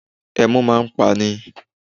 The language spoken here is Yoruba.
Ẹmu máa ń pa ni